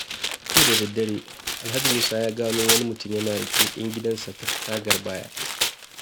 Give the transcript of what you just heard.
Jiya da daddare, Alhaji Musa ya gano wani mutumi yana leƙen gidansa ta tagar baya.